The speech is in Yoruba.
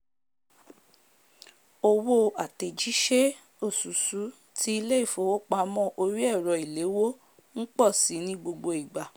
owó àtèjísé osusù ti ilé ìfowópamó orí èrọ ìléwó n pò si ní gbogbo ìgbạ̣̀